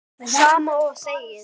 Sama og þegið.